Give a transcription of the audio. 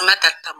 An ka ta